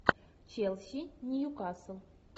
челси ньюкасл